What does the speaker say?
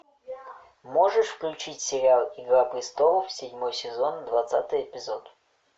можешь включить сериал игра престолов седьмой сезон двадцатый эпизод